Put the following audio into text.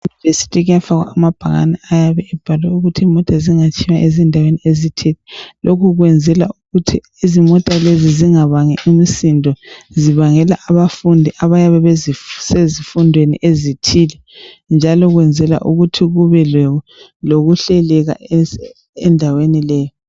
EmaYunivesi kuyafakwa amabhakani ayabe ebhalwe ukuthi imota zingatshiywa ezindaweni ezithile .Lokhu kwenzelwa ukuthi izimota lezi zingabangi umsindo zibangela abafundi abayabe besezifundweni ezithile njalo kwenzelwa ukuthi kube lokuhleleka endaweni leyi.